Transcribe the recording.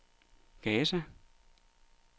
Gaza